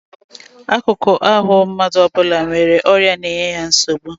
Akụkụ ahụ mmadụ ọ bụla nwere ọrịa na-enye ya nsogbu